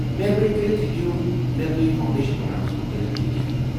مہربٲنی كرِتھ ہیكو مےٚ تُہۍ فاوڈیشن پروگرامس مُتلِق تہِ کینٛہہ ؤنتھ ؟